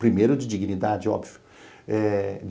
Primeiro de dignidade, óbvio.